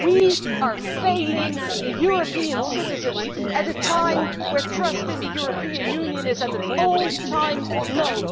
We are failing the European citizens at a time when trust in the European Union is at an all time low.